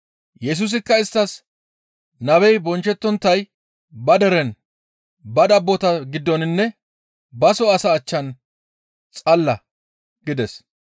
Yesusikka isttas, «Nabey bonchchettonttay ba deren ba dabbota giddoninne baso asaa achchan xalla» gides.